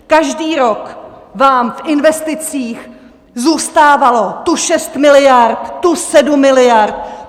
Každý rok vám v investicích zůstávalo tu šest miliard, tu sedm miliard.